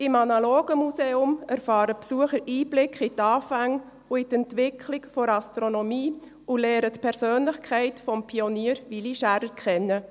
Im analogen Museum erfahren die Besucher Einblicke in die Anfänge und in die Entwicklung der Astronomie und lernen die Persönlichkeit des Pioniers Willy Schaerer kennen.